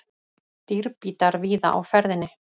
Dýrbítar víða á ferðinni